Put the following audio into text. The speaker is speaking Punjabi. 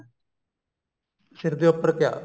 ਸਿਰ ਦੇ ਉੱਪਰ ਕਿਆ